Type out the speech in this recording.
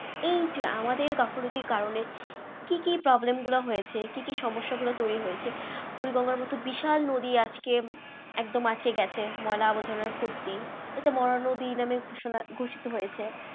এই যে আমাদের গাফিলতির কারণে কি কি problem গুলো হয়েছে? কি কি সমস্যা গুলো তৈরি হয়েছে? বুড়ি গঙ্গার মতো বিশাল নদী আজকে একদম আটকে গেছে ময়লা আবর্জনার ভর্তি এটা মরা নদী নাম ঘোষণা ঘোষিত হয়েছে।